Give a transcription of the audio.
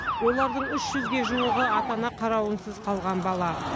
олардың үш жүзге жуығы ата ана қарауынсыз қалған бала